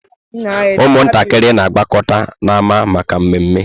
Ụmụntakịrị na-agbakọta n'ámá maka mmeme.